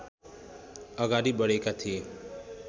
अगाडि बढेका थिए